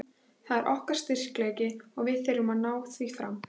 Það er okkar styrkleiki og við þurfum að ná því fram.